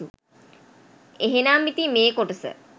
එහෙනම් ඉතින් මේ කොටස